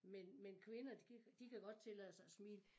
Men men kvinder de kan de kan godt tillade sig at smile